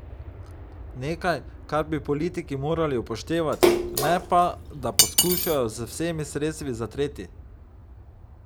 Nekaj, kar bi politiki morali upoštevati, ne pa, da to poskušajo z vsemi sredstvi zatreti.